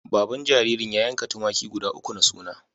Baban jaririn ya yanka tumaki guda uku na suna.